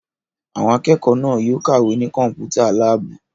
Àwọn akẹ́kọ̀ọ́ náà yóò kàwé ní Kọ́mpútà láàbù!